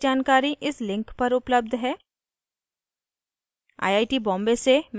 इस mission पर अधिक जानकारी इस लिंक पर उपलब्ध है